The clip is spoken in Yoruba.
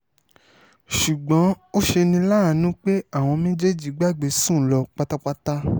ṣùgbọ́n ó ṣe ní láàánú pé àwọn méjèèjì gbàgbé sùn lọ pátápátá